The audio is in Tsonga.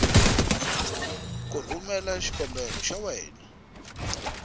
ku rhumela xikombelo xa yena